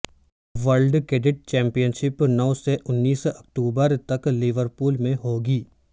world cadet championship نو سے انیس اکتوبر تک لیورپول میں ہوگی